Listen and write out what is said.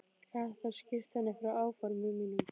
Gat þá skýrt henni frá áformum mínum.